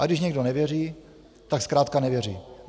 A když někdo nevěří, tak zkrátka nevěří.